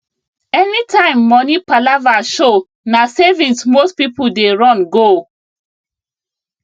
anytime money palava show na savings most people dey run go